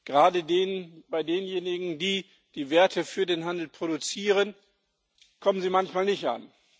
Gerade bei denjenigen, die die Werte für den Handel produzieren, kommen sie manchmal nicht an.